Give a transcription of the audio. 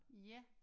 Ja